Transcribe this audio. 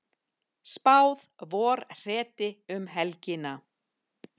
Spáð vorhreti um helgina